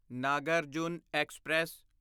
Nagarjuna express